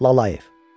Lalayev.